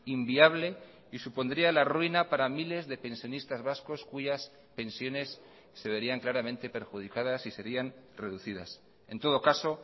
inviable y supondría la ruina para miles de pensionistas vascos cuyas pensiones se verían claramente perjudicadas y serían reducidas en todo caso